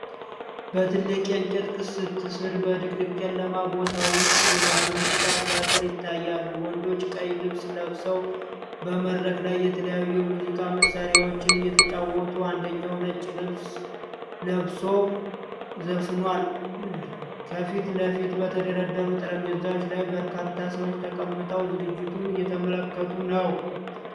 በትልቅ የእንጨት ቅስት ስር በድቅድቅ ጨለማ ቦታ ውስጥ የባህል ሙዚቃ ትርኢት ይታያል። ወንዶች ቀይ ልብስ ለብሰው በመድረክ ላይ የተለያዩ የሙዚቃ መሳሪያዎችን እየተጫወቱ አንደኛው ነጭ ለብሶ ዘፍኗል። ከፊት ለፊት በተደረደሩ ጠረጴዛዎች ላይ በርካታ ሰዎች ተቀምጠው ዝግጅቱን እየተመለከቱ ነው።